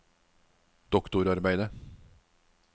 doktorarbeidet